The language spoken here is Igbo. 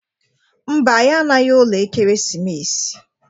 Mba, anyị anaghị ụlọ Ekeresimesi.